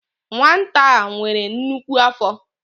Nwata a nwere nnukwu afọ.